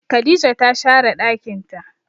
Khadijah ta share ɗakin ta.